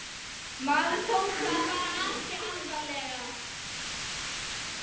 Maður tók það bara ekki alvarlega.